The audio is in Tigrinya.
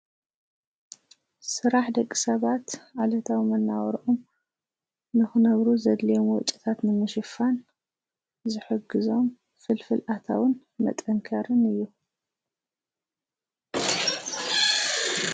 ስራሕ ደቂ ሰባት ዕለታዊ መነባብሮኦም ንኽነብሩ ዘድልዮሞ ወጭታት ንምሽፋን ዝሕግዞም ፍልፍል ኣታውን መጠንከርን እዩ።